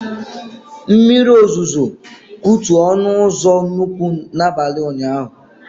Mmiri ozuzo kutu ọnụ ụzọ nnukwu na abalị ụnyaahụ